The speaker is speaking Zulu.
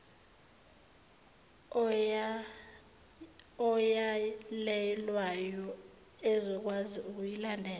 oyalelwayo ezokwazi ukuyilandela